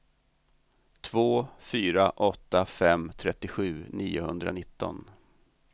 två fyra åtta fem trettiosju niohundranitton